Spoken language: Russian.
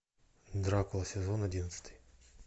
дракула сезон одиннадцатый